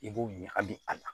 I b'o ɲagami a la